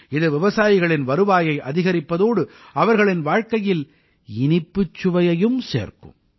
இது விவசாயிகளின் வருவாயை அதிகரிப்பதோடு அவர்களின் வாழ்க்கையில் இனிப்புச் சுவையையும் சேர்க்கும்